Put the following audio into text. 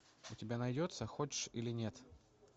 у тебя найдется хочешь или нет